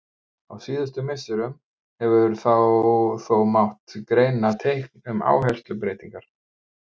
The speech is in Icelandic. Á síðustu misserum hefur þó mátt greina teikn um áherslubreytingar.